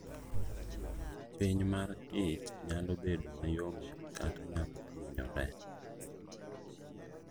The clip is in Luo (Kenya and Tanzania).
Piny mar ich nyalo bedo ma yomyom kata nyalo hinyore.